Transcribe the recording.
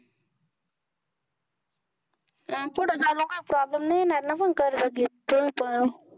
आणि पुढे चालून काही problem नाही येणार ना पण कर्ज घेतोय तर.